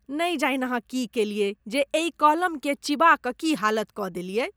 नहि जानि अहाँ की केलयै जे एहि कलमकेँ चिबा कऽ की हालत कऽ देलियै।